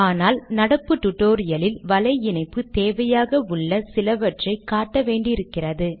ஆனால் நடப்பு டுடோரியலில் வலை இணைப்பு தேவையாக உள்ள சிலவற்றை காட்ட வேண்டியிருக்கிறது